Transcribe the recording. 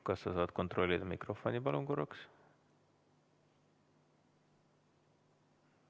Kas sa saad kontrollida oma mikrofoni?